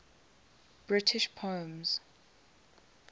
british poems